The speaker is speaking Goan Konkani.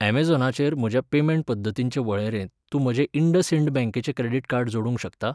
ऍमेझॉनाचेर म्हज्या पेमेंट पद्दतींचे वळेरेंत तूं म्हजें इंडसइंड बँकेचें क्रेडिट कार्ड जोडूंक शकता?